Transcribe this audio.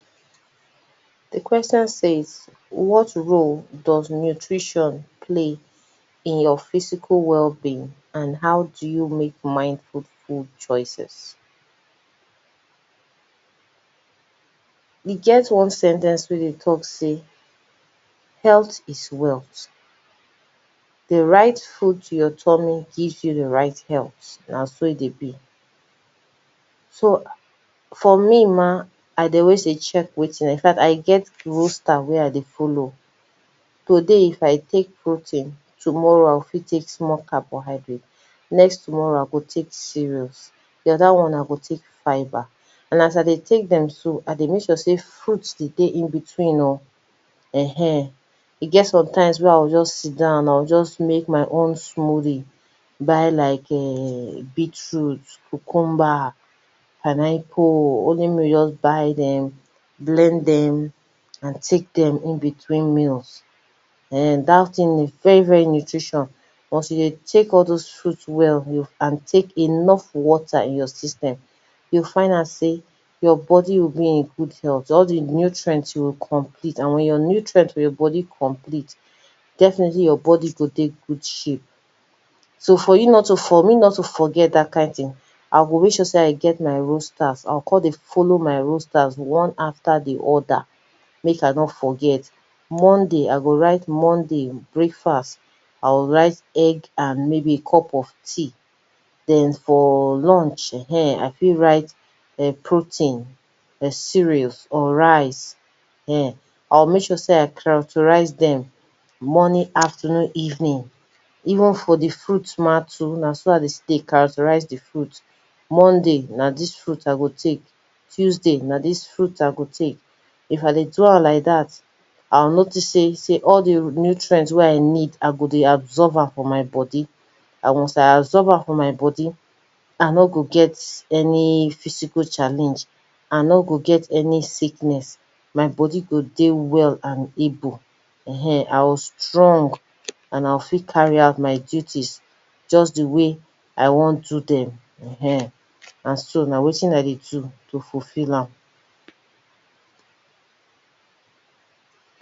Di question say what role does nutrition play in your physical wellbeing and how do you make more fruitful choices? E get one sen ten ce wey dey talk sey health is wealth, di right food to your tommy give you di right health, na so e dey be, so for me ma, I dey always dey check wetin I dey do infact I get roaster wey I dey follow, today if I take protein, tomorrow I fit take small carbohydrate, next tomorrow I go take cereals, do oda one I go take fiber, and as I dey take dem so, I dey make sure sey food dey dey in between oh, ehen e get sometimes wen I go just sit down, I go just make my own smoothie, buy like [urn] beetroot, cucumber, pineapple, only me go just buy dem, blend dem, and take dem in between meals, [urn] dat thing e very very nutrition once you dey take all doz fruits well, and take enough water in your system, you go find out sey your body will be in good health, all di nutrient go complete, and wen di nutrient for your body complete, definitely your body go dey good shape, so for you not to, for me not to forget dat kind thing, I go make sure I get my roasters, I go come dey follow my roasters, one after di oda, make I nor forget, Monday I go write Monday breakfast, I go write like maybe egg and a cup of tea. Den for lunch ehen I fit write protein, cereals or rice ehen I go make sure sey I characterize dem morning afternoon evening, even for di fruit ma too, na so I dey still dey characterize di fruit, Monday na dis fruit I go take, Tuesday na dis fruit I go take. If I dey do am like dat, I go notice sey sey all di nutrient wey I need I go dey absorb am for my body, I once I absorb am for my body I no g get any physical challenge, I nor go get any sickness, my body go dey well and able, ehen I go strong, and I go fit carry out my duties, just di way I wan do dem, ehen, na so na wetin I dey do to fulfill am.